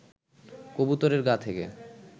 কবুতরের গা থেকে